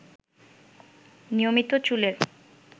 নিয়মিত চুলের